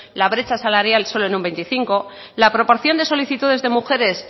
la brecha salarial solo en un veinticinco por ciento la proporción de solicitudes de mujeres